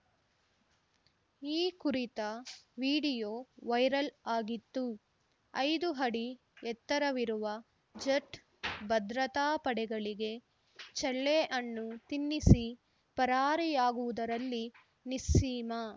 ಈ ಕುರಿತ video viral ಆಗಿತ್ತು ಐದು ಅಡಿ ಎತ್ತರವಿರುವ ಜಟ್‌ ಭದ್ರತಾ ಪಡೆಗಳಿಗೆ ಚಳ್ಳೆ ಹಣ್ಣು ತಿನ್ನಿಸಿ ಪರಾರಿಯಾಗುವುದರಲ್ಲಿ ನಿಸ್ಸೀಮ